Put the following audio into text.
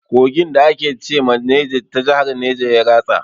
Kogin da ake ce ma Neja ta jahar neja ya ratsa.